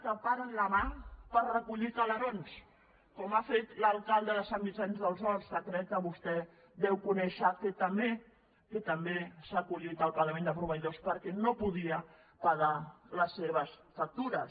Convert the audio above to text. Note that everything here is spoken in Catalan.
que paren la mà per recollir calerons com ha fet l’alcalde de sant vicenç dels horts que crec que vostè deu conèixer que també s’ha acollit al pagament de proveïdors perquè no podia pagar les seves factures